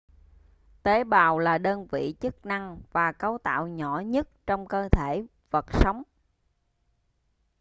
tế bào là đơn vị chức năng và cấu tạo nhỏ nhất trong cơ thể vật sống